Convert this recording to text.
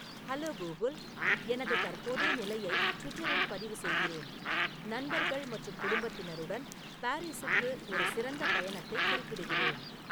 hello Google எனது தற்போதைய நிலையை ட்விட்டரில் பதிவு செய்கிறேன் நண்பர்கள் மற்றும் குடும்பத்தினருடன் பாரிஸுக்கு ஒரு சிறந்த பயணத்தைக் குறிப்பிடுகிறேன்